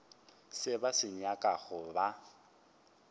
se ba se nyakago ba